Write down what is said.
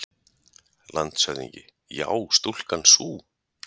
LANDSHÖFÐINGI: Já, stúlkan sú!